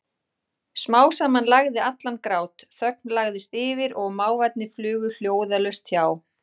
Smám saman lægði allan grát, þögn lagðist yfir og máfarnir flugu hljóðalaust hjá.